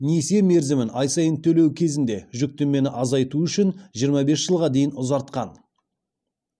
несие мерзімін ай сайын төлеу кезінде жүктемені азайту үшін жиырма бес жылға дейін ұзартқан